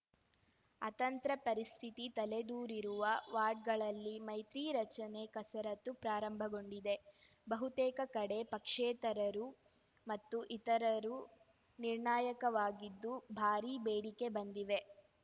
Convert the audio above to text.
ಅತಂತ್ರ ಪರಿಸ್ಥಿತಿ ತಲೆದೋರಿರುವ ವಾರ್ಡ್‌ಗಳಲ್ಲಿ ಮೈತ್ರಿ ರಚನೆ ಕಸರತ್ತು ಪ್ರಾರಂಭಗೊಂಡಿದೆ ಬಹುತೇಕ ಕಡೆ ಪಕ್ಷೇತರರು ಮತ್ತು ಇತರರು ನಿರ್ಣಾಯಕವಾಗಿದ್ದು ಭಾರೀ ಬೇಡಿಕೆ ಬಂದಿವೆ